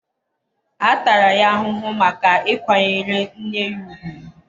a tara ya ahụhụ maka ịkwanyere nne ya ùgwù.